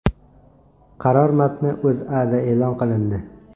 Qaror matni O‘zAda e’lon qilindi .